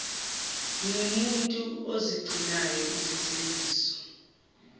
ngingumuntu ozigcinayo izethembiso